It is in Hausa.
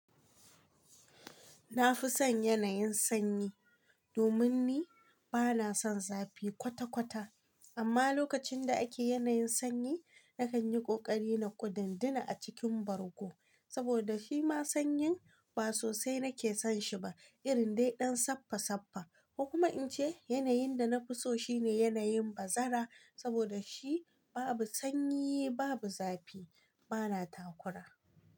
Na fi son yanayin sanyi domin ni ba na son zafi kwata-kwata. Amma lokacin da ake yanayin sanyi, na kan yi ƙoƙari na kudunduna a cikin bargo saboda shi ma sanyin ba sosai na ke son shi ba, irin dai ɗan sappa-sappa. Ko kuma in ce yanayin da na fi so shi ne yanayin bazara saboda shi babu sanyi, babu zafi, ba na takura.